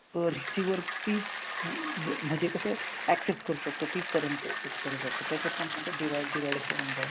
Receiver तीच म म्हणजे कसं accept करू शकतो, तीच currency accept करू शकतो. त्याच्यातपण असं divide divide होऊन जाईल.